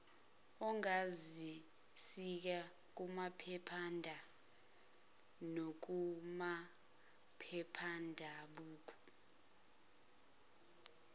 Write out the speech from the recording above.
ongazisika kumaphephanda nakumaphephabhuku